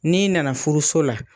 N'i nana furuso la,